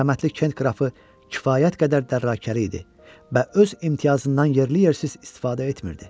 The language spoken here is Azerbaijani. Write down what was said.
Mərhəmətli Kent qrafı kifayət qədər dərrakəli idi və öz imtiyazından yerli yersiz istifadə etmirdi.